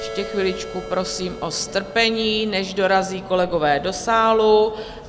Ještě chviličku prosím o strpení, než dorazí kolegové do sálu.